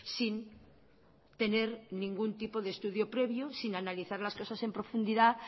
sin tener ningún tipo de estudio previo sin analizar las cosas en profundidad